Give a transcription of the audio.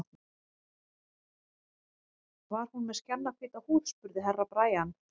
Var hún með skjannahvíta húð, spurði Herra Brian.